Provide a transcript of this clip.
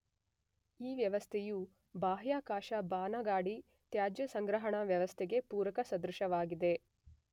ಈ ವ್ಯವಸ್ಥೆಯು ಬಾಹ್ಯಾಕಾಶ ಬಾನಗಾಡಿ ತ್ಯಾಜ್ಯ ಸಂಗ್ರಹಣಾ ವ್ಯವಸ್ಥೆಗೆ ಪೂರಕ ಸದೃಶವಾಗಿದೆ.